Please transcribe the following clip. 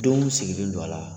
Denw sigilen don a la